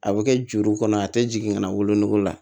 A bɛ kɛ juru kɔnɔ a tɛ jigin ka na wolonugu la